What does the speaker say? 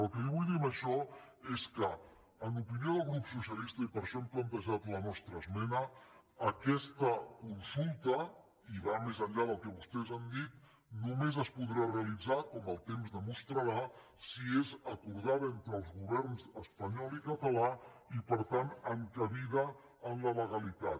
el que li vull dir amb això és que en opinió del grup socialista i per això hem plantejat la nostra esmena aquesta consulta i va més enllà del que vostès han dit només es podrà realitzar com el temps demostrarà si és acordada entre els governs espanyol i català i per tant encabida en la legalitat